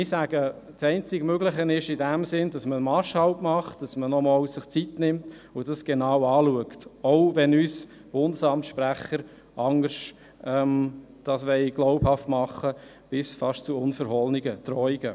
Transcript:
Ich sage, dass die einzige Möglichkeit darin besteht, einen Marschhalt einzulegen und sich nochmals Zeit zu nehmen, um das Ganze genau anzuschauen, auch wenn uns die Sprecher des Bundesamts etwas anderes glauben machen wollen und schon fast unverhohlene Drohungen aussprechen.